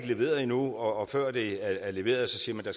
leveret endnu og før det er leveret siger man at